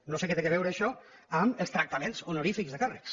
no sé què té que veure això amb els tractaments honorífics de càrrecs